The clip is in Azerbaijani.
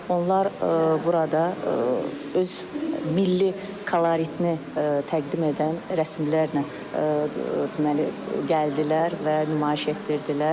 Onlar burada öz milli koloritini təqdim edən rəsimlərlə deməli gəldilər və nümayiş etdirdilər.